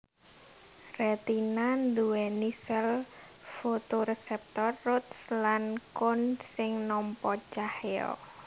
Retina nduwèni sèl fotoreseptor rods lan cones sing nampa cahya